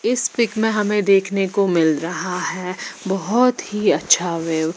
इस पीक मे हमे देखने को मिल रहा है बहुत ही अच्छा व्यू --